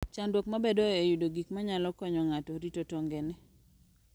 Chandruok mabedoe en yudo gik manyalo konyo ng'ato rito tongone.